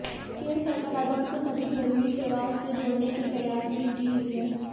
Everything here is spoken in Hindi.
केंद्र सरकार आधार को सभी जरूरी सेवाओं से जोड़ने के प्रयास में जुटी हुई है